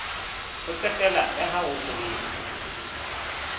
ho qetela la ho sebetsa